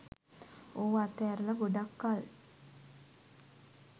ඕව අතැරල ගොඩක් කල්